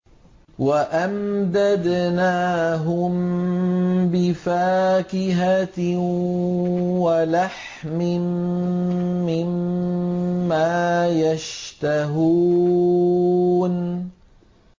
وَأَمْدَدْنَاهُم بِفَاكِهَةٍ وَلَحْمٍ مِّمَّا يَشْتَهُونَ